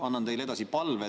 Annan teile edasi palve.